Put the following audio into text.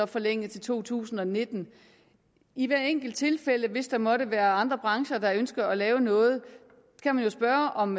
forlænget til to tusind og nitten i hvert enkelt tilfælde hvis der måtte være andre brancher der ønsker at lave noget kan man jo spørge om